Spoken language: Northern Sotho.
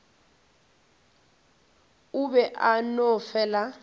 o be a no fela